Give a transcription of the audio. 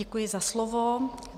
Děkuji za slovo.